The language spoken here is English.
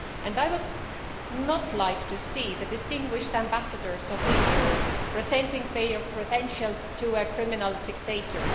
I would not like to see the distinguished ambassadors of the EU presenting their credentials to a criminal dictator.